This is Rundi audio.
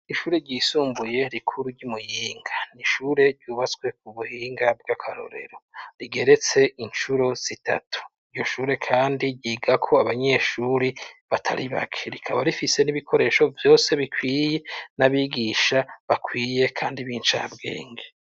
Ishuri ryisumbuye rikuru ry'i Muyinga. N'shure ryubatswe ku buhinga bw'akarorero, to geretse incuro zitatu. Iryo shure kandi ryigako abanyeshuri batari bake, rikaba rifise n'ibikoresho vyose bikwiye, n'abigisha bakwiye kandi b'incabwenge.